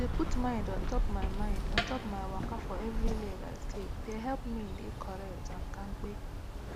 to dey put mind untop my mind untop my waka for everi leg i take de helep me dey correct n kampe